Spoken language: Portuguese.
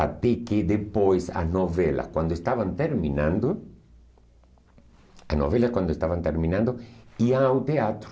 Até que depois, as novelas, quando estavam terminando, as novelas, quando estavam terminando, iam ao teatro.